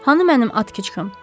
Hanı mənim atxıçım?